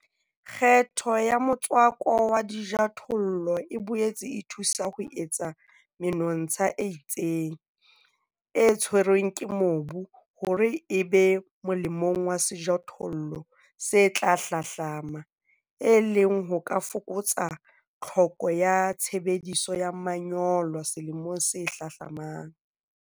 Kgetho ya motswako wa dijothollo e boetse e thusa ho etsa menontsha e itseng, e tshwerweng ke mobu, hore e be molemong wa sejothollo se tla hlahlama, e leng ho ka fokotsang tlhoko ya tshebediso ya manyolo selemong se hlahlamang.